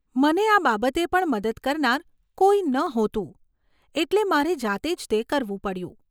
મને આ બાબતે પણ મદદ કરનાર કોઈ નહોતું, એટલે મારે જાતે જ તે કરવું પડ્યું.